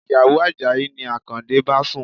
Ìyàwó Àjàyí ni Akande bá sùn.